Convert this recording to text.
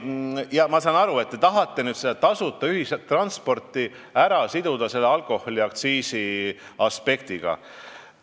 Ma saan aru, et te tahate tasuta ühistransporti siduda alkoholiaktsiisiga.